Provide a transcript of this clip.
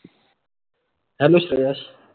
Hello sir.